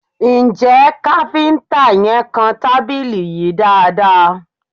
Ǹjẹ́ kafinta yẹn kàn tábìlì yìí dáadaa?